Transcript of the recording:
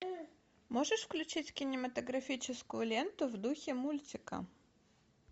можешь включить кинематографическую ленту в духе мультика